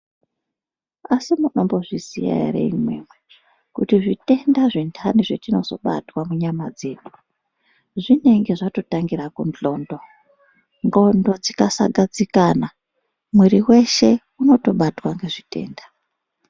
Asi munombozviziya ere imwimwi kuti zvitenda zventani zvetinozobatwa munyama dzedu zvinenge zvatotangira kundxondo, ndxondo dzikasagadzikana mwiri weshe unenge unotobatwa ngezvitenda.